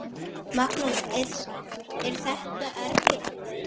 Magnús: Er þetta erfitt?